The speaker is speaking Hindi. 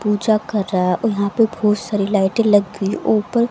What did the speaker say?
पूजा कर रहा है और यहां पे बहुत सारी लाइटे लग गई ऊपर--